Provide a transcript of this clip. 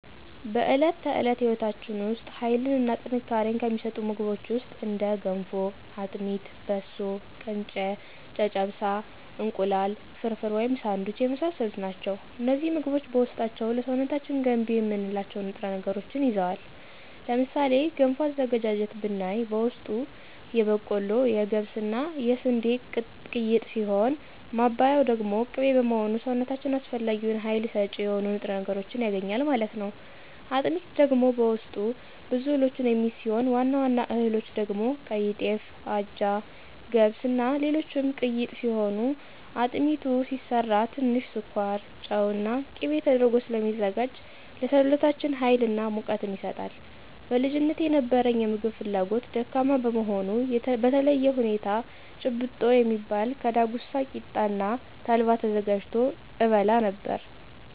በዕለት ተዕለት ሕይወታችን ውስጥ ኃይልን እና ጥንካሬን ከሚሰጡን ምግቦች ውስጥ እንደ ገንፎ; አጥሚት; በሶ: ቅንጨ; ጨጨብሳ; እንቁላል ፍርፍር/ሳንዱች የመሳሰሉት ናቸው። እነዚህ ምግቦች በውስጣቸው ለሰውነታችን ገንቢ የምንላቸውን ንጥረ ነገሮችን ይዘዋል። ለምሳሌ ገንፎ አዘገጃጀት ብናይ በውስጡ የበቆሎ; የገብስ እና የስንዴ ቅይጥ ሲሆን ማባያው ደግሞ ቅቤ በመሆኑ ሰውነታችን አስፈላጊውን ሀይል ሰጭ የሆኑ ንጥረ ነገሮችን ያገኛል ማለት ነው። አጥሚት ደግሞ በውስጡ ብዙ እህሎችን የሚይዝ ሲሆን ዋና ዋና እህሎች ደግሞ ቀይጤፍ; አጃ; ገብስ; እና ሌሎችም ቅይጥ ሲሆን አጥሚቱ ሲሰራ ትንሽ ስኳር; ጨው እና ቂቤ ተደርጎ ስለሚዘጋጅ ለሰውነታችን ሀይል እና ሙቀትን ይሰጣል። በልጅነቴ የነበረኝ የምግብ ፍላጎት ደካማ በመሆኑ በተለየ ሁኔታ ጭብጦ የሚባል ከዳጉሳ ቂጣ እና ተልባ ተዘጋጅቶ እበላ ነበር።